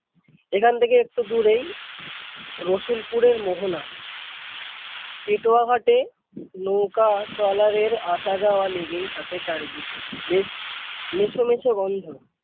এখান থেকে একটু দূরেই রসুলপুরের মোহনা পেটুয়াঘাট এ নৌকা troller এর আসা-যাওয়া লেগেই থাকে চারিদিকে বেশ মেছো মেছো গন্ধ।